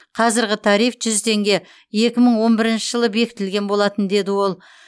қазіргі тариф жүз теңге екі мың он бірінші жылы бекітілген болатын деді ол